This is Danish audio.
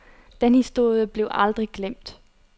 Den historie blev aldrig glemt.